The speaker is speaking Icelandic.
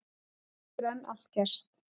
Það getur enn allt gerst